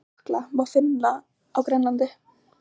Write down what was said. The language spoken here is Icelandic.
Slíka jökla má finna á Grænlandi.